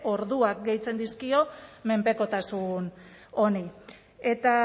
orduak gehitzen dizkio menpekotasun honi eta